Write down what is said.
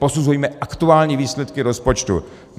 Posuzujme aktuální výsledky rozpočtu.